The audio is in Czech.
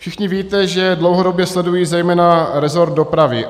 Všichni víte, že dlouhodobě sleduji zejména resort dopravy.